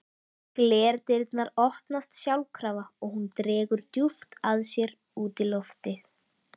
Glerdyrnar opnast sjálfkrafa og hún dregur djúpt að sér útiloftið.